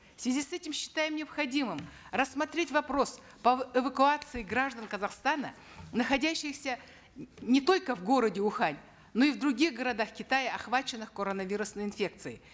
в связи с этим считаем необходимым рассмотреть вопрос по эвакуации граждан казахстана находящихся не только в городе ухань но и в других городах китая охваченных коронавирусной инфекцией